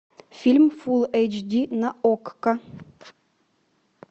фильм фул эйч ди на окко